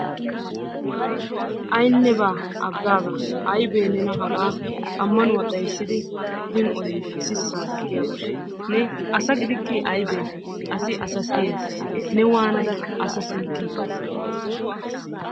Aynnebaa aggaaga aybee nena hagaa ammanuwa xayssidi odin odin sissaa diggiyabayi ne asa gidikkii aybee asi asa siyes ne waanada asa siyikkii?